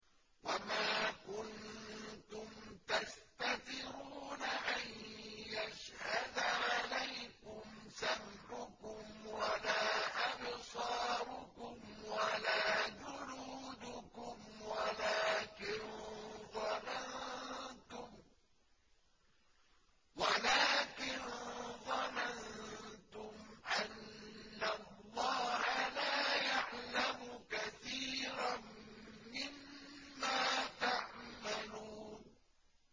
وَمَا كُنتُمْ تَسْتَتِرُونَ أَن يَشْهَدَ عَلَيْكُمْ سَمْعُكُمْ وَلَا أَبْصَارُكُمْ وَلَا جُلُودُكُمْ وَلَٰكِن ظَنَنتُمْ أَنَّ اللَّهَ لَا يَعْلَمُ كَثِيرًا مِّمَّا تَعْمَلُونَ